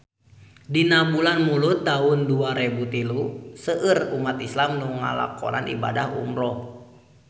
Dina bulan Mulud taun dua rebu tilu seueur umat islam nu ngalakonan ibadah umrah